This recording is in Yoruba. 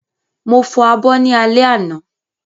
Mo fọ abọ́ ní alẹ́ àná